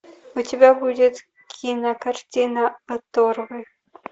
у тебя будет кинокартина оторвы